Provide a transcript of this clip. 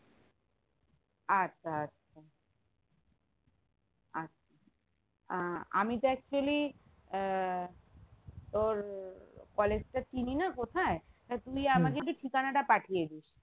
আচ্ছা আচ্ছা আচ্ছা আহ আমি তো actually আহ তোর college টা চিনিনা কোথায় তা তুই আমাকে একটু ঠিকানা টা পাঠিয়েদিস